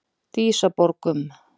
Dísaborgum